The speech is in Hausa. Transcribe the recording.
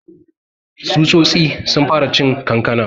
Tsutsotsi sun fara cin kankanan.